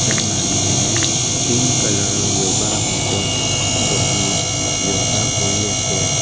এজন মানুহে pink colour ৰ য়োগা মেট ত বহি য়োগা কৰি আছে।